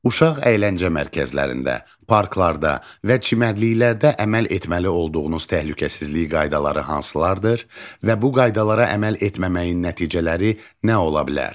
Uşaq əyləncə mərkəzlərində, parklarda və çimərliklərdə əməl etməli olduğunuz təhlükəsizlik qaydaları hansılardır və bu qaydalara əməl etməməyin nəticələri nə ola bilər?